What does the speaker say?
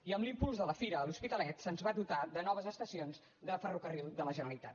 i amb l’impuls de la fira a l’hospitalet se’ns va dotar de noves estacions de ferrocarrils de la generalitat